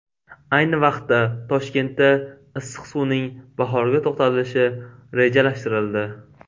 Ayni vaqtda, Toshkentda issiq suvning bahorgi to‘xtatilishi rejalashtirildi.